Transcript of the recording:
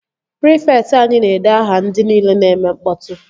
Prịfekt anyi na-ede aha ndị nile na-eme mkpọtụ